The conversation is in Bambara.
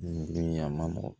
Giriya ma nɔgɔn